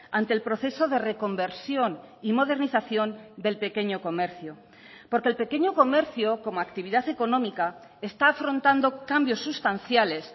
ante el proceso de reconversión y modernización del pequeño comercio porque el pequeño comercio como actividad económica está afrontando cambios sustanciales